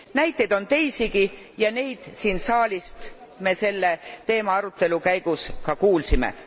Näiteid on teisigi ja neid siin saalis me selle teema arutelu käigus ka kuulsime.